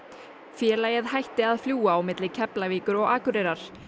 félagið hætti að fljúga milli Keflavíkur og Akureyrar